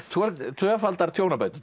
tvöfaldar tjónabætur